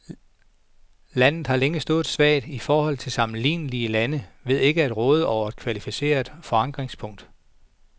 Landet har længe stået svagt i forhold til sammenlignelige lande ved ikke at råde over et kvalificeret forankringspunkt.